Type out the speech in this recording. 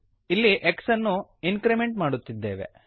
ಇಲ್ಲಿ x ಅನ್ನು increment ಮಾಡುತ್ತಿದ್ದೇವೆ